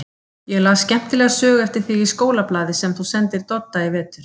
Ég las skemmtilega sögu eftir þig í skólablaði sem þú sendir Dodda í vetur.